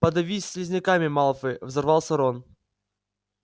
подавись слизняками малфой взорвался рон